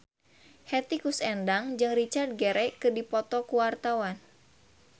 Hetty Koes Endang jeung Richard Gere keur dipoto ku wartawan